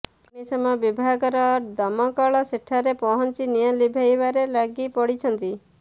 ଅଗ୍ନିଶମ ବିଭାଗର ଦମକଳ ସେଠାରେ ପହଁଞ୍ଚି ନିଆଁ ଲିଭାଇବାରେ ଲାଗି ପଡ଼ିଛନ୍ତି